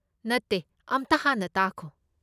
ꯅꯠꯇꯦ, ꯑꯝꯇ ꯍꯥꯟꯅ ꯇꯥꯈꯣ꯫